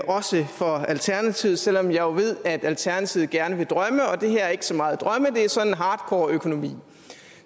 også for alternativet selv om jeg jo ved at alternativet gerne vil drømme og det her er ikke så meget drømme det er sådan hardcore økonomi